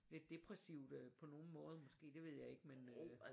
Lidt depressivt øh på nogle måder måske det ved jeg ikke men øh